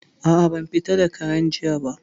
A'a, ban fita da Karen jiya ba